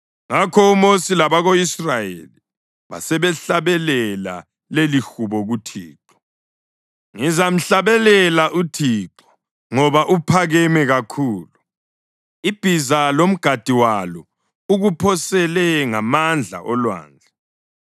Ngakho uMosi labako-Israyeli basebehlabelela lelihubo kuThixo: “Ngizamhlabelela uThixo ngoba uphakeme kakhulu. Ibhiza lomgadi walo ukuphosele ngamandla olwandle.